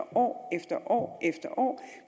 år efter år efter år